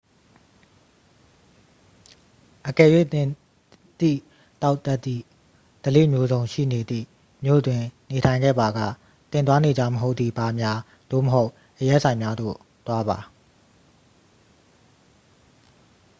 အကယ်၍ သင်သည့် သောက်တတ်သည့် ဓလေ့မျိုးစုံရှိနေသည့် မြို့တွင် နေထိုင်ခဲ့ပါက သင် သွားနေကျမဟုတ်သည့် ဘားများ သို့မဟုတ် အရက်ဆိုင်များသို့ သွားပါ